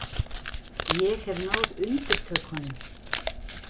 Ég hef náð undirtökunum.